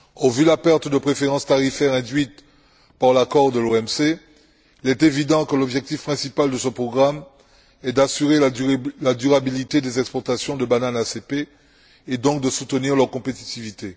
Vu la perte de préférence tarifaire induite par l'accord de l'OMC, il est évident que l'objectif principal de ce programme est d'assurer la durabilité des exportations de bananes ACP et donc de soutenir leur compétitivité.